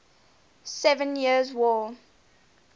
seven years war